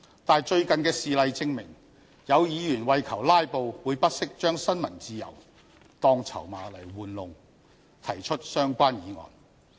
但是，最近的事例證明，有議員為求"拉布"，會不惜將新聞自由當籌碼玩弄，提出相關議案。